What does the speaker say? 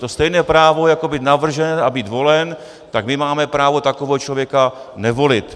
To stejné právo, jako být navržen a být volen, tak my máme právo takového člověka nevolit.